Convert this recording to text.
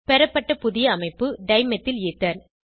பெறப்பட்ட புதிய அமைப்பு டைமெத்தில் ஈதர்